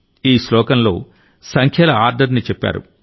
ఈ శ్లోకంలో సంఖ్యల ఆర్డర్ ని చెప్పారు